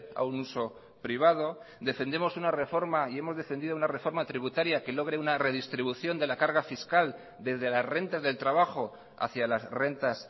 a un uso privado defendemos una reforma y hemos defendido una reforma tributaria que logre una redistribución de la carga fiscal desde las rentas del trabajo hacía las rentas